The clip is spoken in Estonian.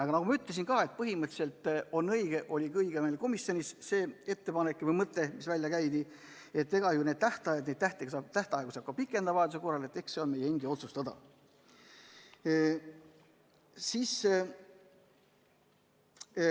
Aga nagu ma juba ütlesin, põhimõtteliselt on õige – ja oligi õige meil komisjonis see ettepanek või mõte, mis välja käidi –, et eks neid tähtaegu saab vajaduse korral pikendada ja see on meie endi otsustada.